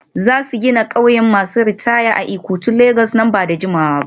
Za su gina ƙauyen masu ritaya a Ikotun Legas nan ba da jimawa ba.